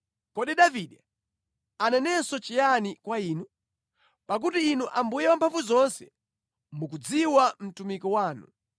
Kodi Davide anenenso chiyani kwa Inu? Pakuti Inu Ambuye Wamphamvuzonse mukumudziwa mtumiki wanu.